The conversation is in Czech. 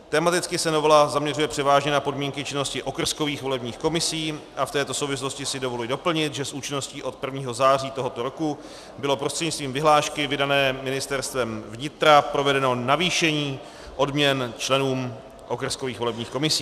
Tematicky se novela zaměřuje převážně na podmínky činnosti okrskových volebních komisí a v této souvislosti si dovoluji doplnit, že s účinností od 1. září tohoto roku bylo prostřednictvím vyhlášky vydané Ministerstvem vnitra provedeno navýšení odměn členů okrskových volebních komisí.